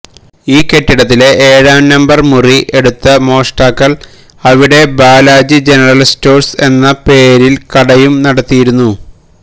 ഈ കെട്ടിടത്തിലെ ഏഴാം നമ്പര് മുറി എടുത്ത മോഷ്ടാക്കള് അവിടെ ബാലാജി ജനറല് സ്റ്റോഴ്സ് എന്ന പേരില് കടയും നടത്തിയിരുന്നു